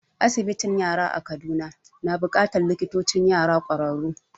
Asibitin yara a Kaduna na buƙatar likitocin yara ƙwararru